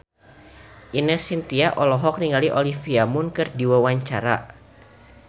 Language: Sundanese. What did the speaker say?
Ine Shintya olohok ningali Olivia Munn keur diwawancara